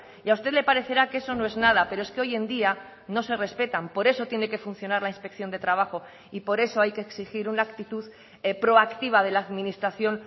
y a usted le parecerá que eso no es nada pero es que hoy en día no se respetan por eso tiene que funcionar la inspección de trabajo y por eso hay que exigir una actitud proactiva de la administración